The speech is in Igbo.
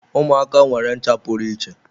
Ụmụaka nwere ncha pụrụ iche.